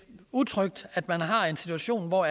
utrygt at man har en situation hvor